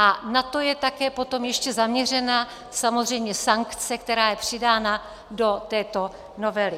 A na to je také potom ještě zaměřena samozřejmě sankce, která je přidána do této novely.